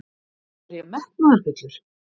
Er ég metnaðarfullur?